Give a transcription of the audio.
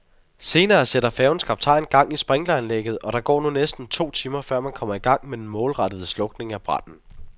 Senere sætter færgens kaptajn gang i sprinkleranlægget, og der går nu næsten to timer, før man kommer i gang med den målrettede slukning af branden.